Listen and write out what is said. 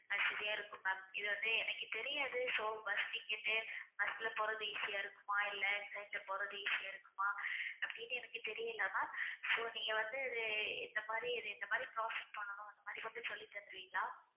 வசதியா இருக்கும் ma'am இது வந்து எனக்கு தெரியாது so bus ticket உ bus ல போறது easy யா இருக்குமா இல்லை train ல போறது easy ஆ இருக்குமா அப்படின்னு எனக்கு தெரியல ma'am so நீங்க வந்து இது இந்த மாதிரி இந்த மாதிரி process பண்ணணும் அந்த மாதிரி கொஞ்சம் சொல்லி தந்துருவீங்களா